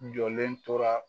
Jɔlen tora